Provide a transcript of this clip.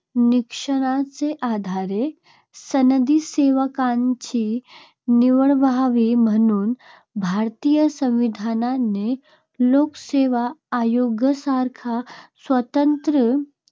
निकषांच्या आधारे सनदी सेवकांची निवड व्हावी म्हणून भारतीय संविधानाने लोकसेवा आयोगासारख्या स्वतंत्र